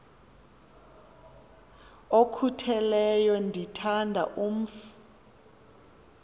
okhutheleyo ndithanda umf